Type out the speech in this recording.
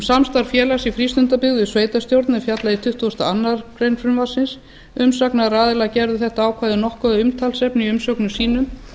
samstarf félags í frístundabyggð við sveitarstjórn er fjallað í tuttugasta og aðra grein frumvarpsins umsagnaraðilar gerðu þetta ákvæði nokkuð að umtalsefni í umsögnum sínum